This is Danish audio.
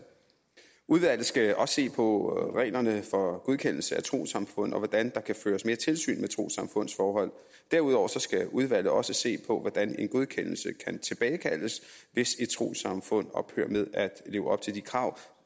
udvalget skal også se på reglerne for godkendelse af trossamfund og på hvordan der kan føres mere tilsyn med trossamfunds forhold derudover skal udvalget også se på hvordan en godkendelse kan tilbagekaldes hvis et trossamfund ophører med at leve op til de krav